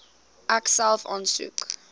ek self aansoek